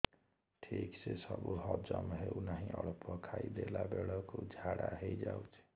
ଠିକସେ ସବୁ ହଜମ ହଉନାହିଁ ଅଳ୍ପ ଖାଇ ଦେଲା ବେଳ କୁ ଝାଡା ହେଇଯାଉଛି